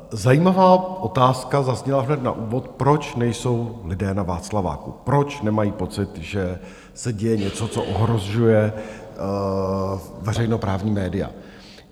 Zajímavá otázka zazněla hned na úvod, proč nejsou lidé na Václaváku, proč nemají pocit, že se děje něco, co ohrožuje veřejnoprávní média.